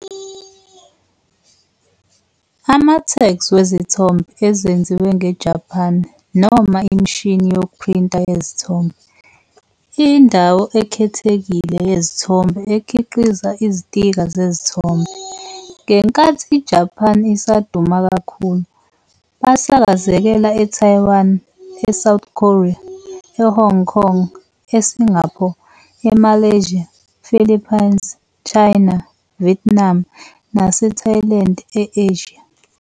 Ama-tags wezithombe ezenziwe ngeJapan noma imishini yokuphrinta yezithombe iyindawo ekhethekile yezithombe ekhiqiza izitika zezithombe. Ngenkathi iJapan isaduma kakhulu, basakazekela eTaiwan, eSouth Korea, eHong Kong, eSingapore, eMalaysia, Philippines, China, Vietnam naseThailand e-Asia.